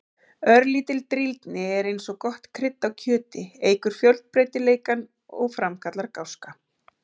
Örlítil drýldni er eins og gott krydd á kjöti, eykur fjölbreytileikann og framkallar gáska.